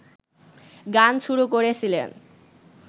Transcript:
গান শুরু করেছিলেন